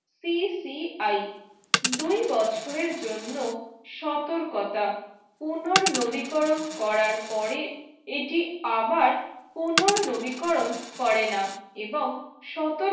TCI দুই বছর জন্য সতর্কতা পুনর্নবীকরণ করার পরেই এটি আবার পুনর্নবীকরণ করে না এবং সতর